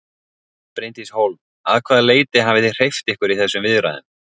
Bryndís Hólm: Að hvaða leyti hafið þið hreyft ykkur í þessum viðræðum?